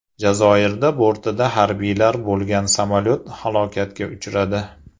Jazoirda bortida harbiylar bo‘lgan samolyot halokatga uchradi.